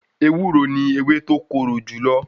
Ewúro ni ewé tó korò jùlọ.